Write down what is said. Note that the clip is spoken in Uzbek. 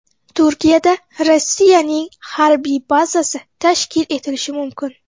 Turkiyada Rossiyaning harbiy bazasi tashkil etilishi mumkin.